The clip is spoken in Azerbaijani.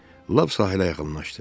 Lap sahilə yaxınlaşdı.